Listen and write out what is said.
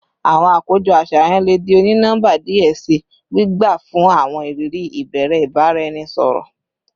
Awọn akojọ aṣayan le di oni-nọmba diẹ sii, gbigba fun awọn iriri ibere ibaraẹnisọrọ